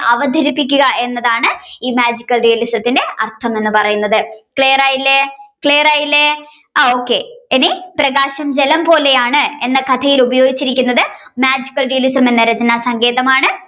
അവതരിപ്പിക്കുക എന്നതാണ് ഈ Magical Realism ത്തിന്റെ അർഥം എന്ന് പറയുന്നത് clear ആയില്ലേ clear ആയില്ലേ ആ ok ഇന്നി പ്രകാശം ജലം പോലെയാണ് എന്ന കഥയിൽ ഉപയോഗിച്ചിരിക്കുന്നത് magical realism എന്ന രചനാസങ്കേതമാണ്